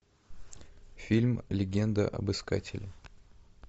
фильм легенда об искателе